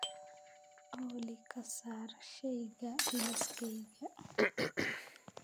olly ka saar shayga liiskayga